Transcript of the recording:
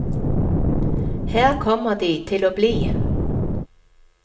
Her kommer de til å bli.